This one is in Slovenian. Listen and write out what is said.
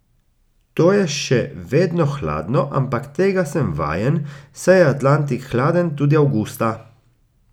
To je še vedno hladno, ampak tega sem vajen, saj je Atlantik hladen tudi avgusta.